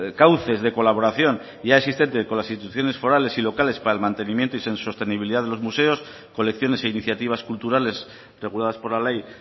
cauces de colaboración ya existentes con las instituciones forales y locales para el mantenimiento y sostenibilidad de los museos colecciones e iniciativas culturales reguladas por la ley